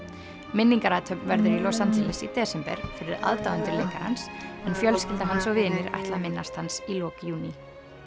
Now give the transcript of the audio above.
minningarathöfn verður í Los Angeles í desember fyrir aðdáendur leikarans en fjölskylda hans og vinir ætla að minnast hans í lok júní